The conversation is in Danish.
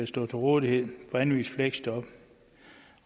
stå til rådighed for anvist fleksjob